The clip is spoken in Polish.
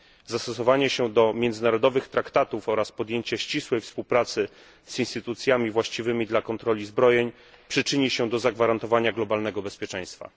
Zastosowanie się do międzynarodowych traktatów oraz podjęcie ścisłej współpracy z instytucjami właściwymi dla kontroli zbrojeń przyczyni się do zagwarantowania globalnego bezpieczeństwa.